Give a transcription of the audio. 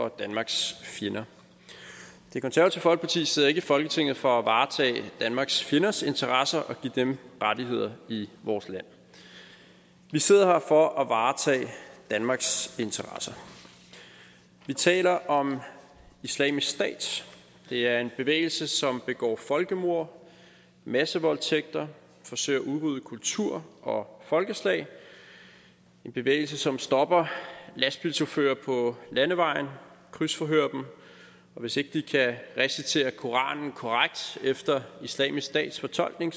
for danmarks fjender det konservative folkeparti sidder ikke i folketinget for at varetage danmarks fjenders interesser og give dem rettigheder i vores land vi sidder her for at varetage danmarks interesser vi taler om islamisk stat det er en bevægelse som begår folkemord massevoldtægter og forsøger at udrydde kulturer og folkeslag en bevægelse som stopper lastbilchauffører på landevejen og krydsforhører dem og hvis ikke de kan recitere koranen korrekt efter islamisk stat fortolkning